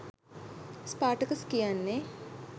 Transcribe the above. Spartacus කියන්නේ